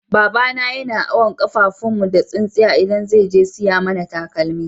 Baba na yana awon kafafun mu da tsinsiya idan zai je siyan mana takalma.